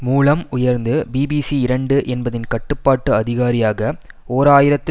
மூலம் உயர்ந்து பிபிசி இரண்டு என்பதின் கட்டுப்பாட்டு அதிகாரியாக ஓர் ஆயிரத்தி